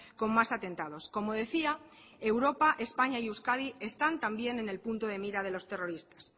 con más atentados como decía europa españa y euskadi están también en el punto de mira de los terroristas